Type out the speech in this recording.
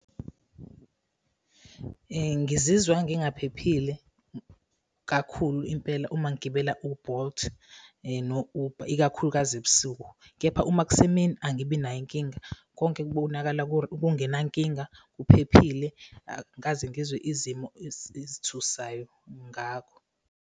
Ngizizwa ngingaphephile kakhulu impela uma ngigibela u-Bolt no-Uber, ikakhulukazi ebusuku. Kepha uma kusemini angibinayo inkinga, konke kubonakala kungenankinga kuphephile, angikaze ngizwe izimo ezithusayo ngakho.